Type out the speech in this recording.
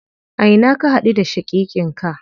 A ina ka haɗu da shaƙiƙin ka?